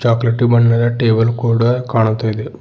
Chocolatey ಬಣ್ಣದ table ಕೂಡ ಕಾಣ್ತಾಯಿದೆ.